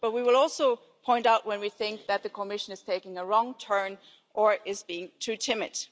But we will also point out when we think that the Commission is taking a wrong turn or is being too timid.